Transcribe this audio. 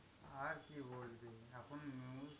আর কি বলবি? এখন news